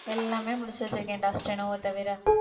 எல்லாமே முடிச்சு வச்சிருக்கேன்டா steno வ தவிர